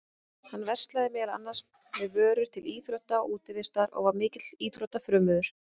Hann verslaði meðal annars með vörur til íþrótta og útivistar og var mikill íþróttafrömuður.